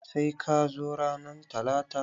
Sai ka zo ranan talata!